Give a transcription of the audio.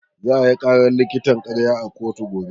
Za ayi ƙarar likitan ƙarya a kotu gobe.